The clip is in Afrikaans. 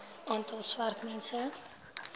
aantal swart mense